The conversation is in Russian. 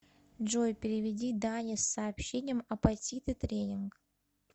джой переведи дане с сообщением апатиты тренинг